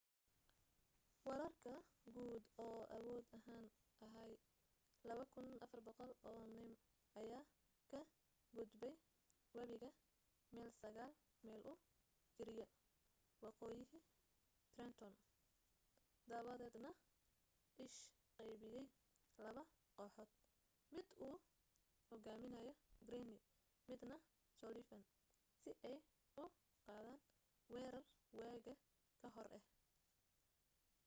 weerarka guud oo awood ahaan ahaa 2,400 oo nim ayaa ka gudbay webiga meel sagaal mayl u jirya waqooyiha trenton dabadeedna ish qaybiyay laba kooxood mid uu hogaaminayo greene midna sullivan si ay u qaadan weerar waaga ka hor ah